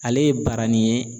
Ale ye baranin ye.